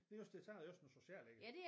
Det er også det så er det også noget socialt ikke